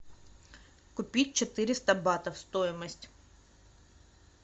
купить четыреста батов стоимость